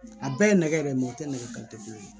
A bɛɛ ye nɛgɛ yɛrɛ o tɛ nɛgɛ ka nɛgɛ kelen ye